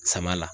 Sama la